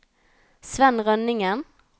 Svenn Rønningen